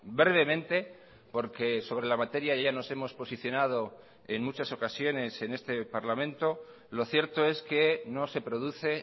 brevemente porque sobre la materia ya nos hemos posicionado en muchas ocasiones en este parlamento lo cierto es que no se produce